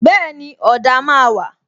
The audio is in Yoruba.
Bẹẹni, ọ̀dà máa wà